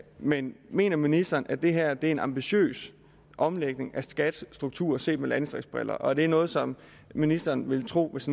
men mener ministeren at det her er en ambitiøs omlægning af skats struktur set med landdistriktsbriller og er det noget som ministeren ville tro hvis